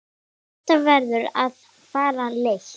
Þetta verður að fara leynt!